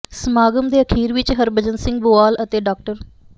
ਸਮਾਗਮ ਦੇ ਅਖੀਰ ਵਿੱਚ ਹਰਭਜਨ ਸਿੰਘ ਬੁਆਲ ਅਤੇ ਡਾ